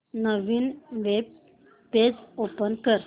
नवीन web page open कर